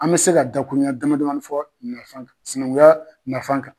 An bɛ se ka da kuru ɲɛn dama damanin fɔ nasan sinankuya nafan kan.